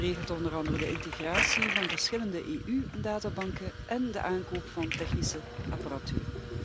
Het regelt onder andere de integratie van verschillende EU databanken en de aankoop van technische apparatuur.